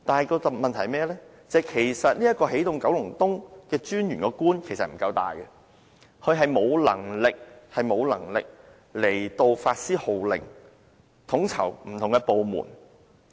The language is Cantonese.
然而，問題是起動九龍東專員的官職不夠大，他沒有能力發施號令，統籌不同的部門。